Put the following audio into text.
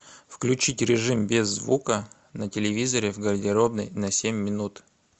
включить режим без звука на телевизоре в гардеробной на семь минут